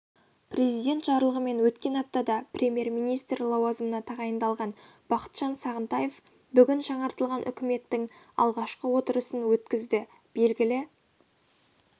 президент жарлығымен өткен аптада премьер-министр лауазымына тағайындалған бақытжан сағынтаев бүгін жаңартылған үкіметтің алғашқы отырысын өткізді белгілі